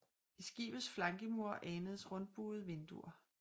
I skibets flankemure anes rundbuede vinduer